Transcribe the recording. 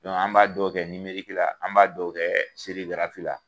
an b'a dɔw kɛ la ,an b'a dɔw kɛ la.